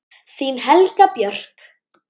Þín Helga Björk.